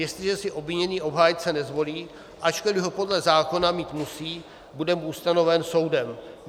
Jestliže si obviněný obhájce nezvolí, ačkoliv ho podle zákona mít musí, bude mu ustanoven soudem.